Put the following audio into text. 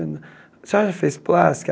A senhora já fez plástica?